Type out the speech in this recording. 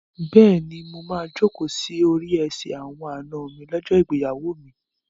Bẹ́ẹ̀ni, mo máa jókòó sí orí ẹsẹ̀ àwọn àna mi lọ́jọ́ ìgbéyàwó mi.